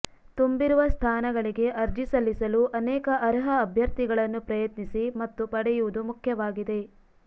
ತುಂಬಿರುವ ಸ್ಥಾನಗಳಿಗೆ ಅರ್ಜಿ ಸಲ್ಲಿಸಲು ಅನೇಕ ಅರ್ಹ ಅಭ್ಯರ್ಥಿಗಳನ್ನು ಪ್ರಯತ್ನಿಸಿ ಮತ್ತು ಪಡೆಯುವುದು ಮುಖ್ಯವಾಗಿದೆ